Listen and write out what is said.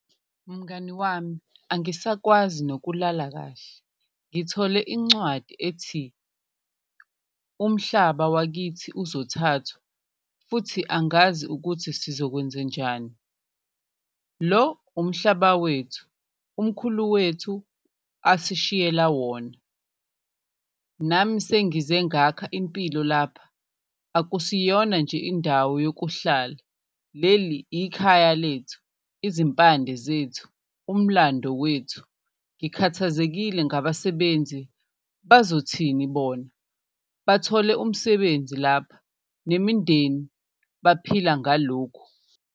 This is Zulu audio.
Mngani wami, angisakwazi nokulala kahle ngithole incwadi ethi umhlaba wakithi uzothathwa futhi angazi ukuthi sizokwenzenjani, lo umhlaba wethu umkhulu wethu asishiyela wona. Nami sengize ngakha impilo lapha, akusiyona nje indawo yokuhlala leli ikhaya lethu, izimpande zethu, umlando wethu. Ngikhathazekile ngabasebenzi bazothini bona, bathole umsebenzi lapha nemindeni baphila ngalokhu.